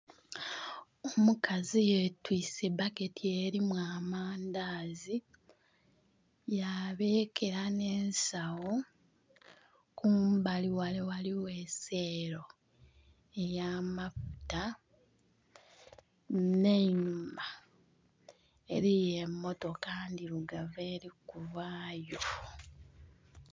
Omukazi yetwiise baketi elimu amandazi, yabeekera n'ensawo. Kumbali ghale ghaligho eseelo ey'amafuta, nh'einhuma eliyo emmotoka ndhirugavu eli kuvayo.